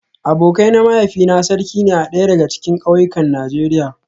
Abokai na mahaifina sarki ne a daya daga cikin kauyukan Najeriya